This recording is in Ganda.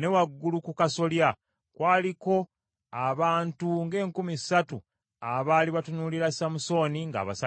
Ne waggulu ku kasolya kwaliko abantu ng’enkumi ssatu abaali batunuulira Samusooni ng’abasanyusaamu.